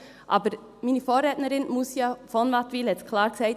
Aber meine Vorrednerin Moussia von Wattenwyl hat es klar gesagt: